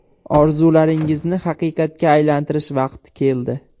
Orzularingizni haqiqatga aylantirish vaqti keldi!